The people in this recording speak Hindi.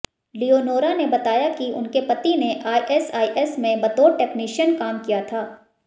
लियोनोरा ने बताया कि उनके पति ने आईएसआईएस में बतौर टेक्निशयन काम किया था